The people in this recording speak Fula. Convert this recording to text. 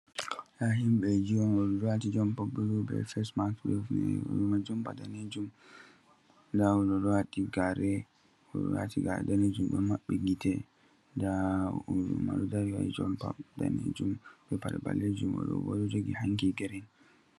Ndaa him6eeji on, ođo đo waati jompa bulu beh fesmax beh hifineere ođo ma be jompa daneejum ndaa ođo đo waati gaare, ođo đo waati gaare daneejum đo ma66i gite, ndaa ođo ma đo dari wađi jompa daneejum, jompa đo 6aleejum oođo bo đo jogi hanki girin.